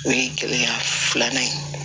O ye gɛlɛya filanan ye